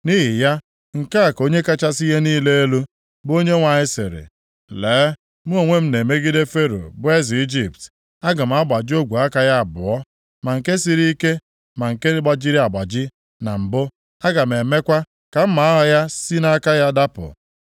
Nʼihi ya, nke a ka Onye kachasị ihe niile elu, bụ Onyenwe anyị sịrị: Lee, mụ onwe m na-emegide Fero bụ eze Ijipt. Aga m agbaji ogwe aka ya abụọ, ma nke siri ike ma nke gbajiri agbaji na mbụ. Aga m emekwa ka mma agha ya si nʼaka ya dapụ.